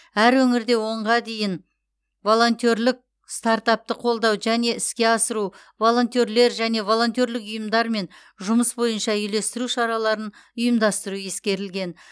әр өңірде онға дейін волонтерлік стартапты қолдау және іске асыру волонтерлер және волонтерлік ұйымдармен жұмыс бойынша үйлестіру шараларын ұйымдастыру ескерілген